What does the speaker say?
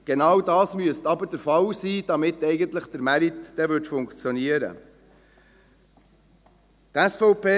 Genau das müsste aber der Fall sein, damit der Markt dann eigentlich funktionieren würde.